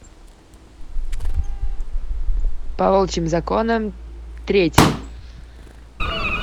по волчьим законам третья